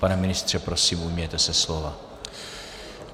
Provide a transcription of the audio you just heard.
Pane ministře, prosím ujměte se slova.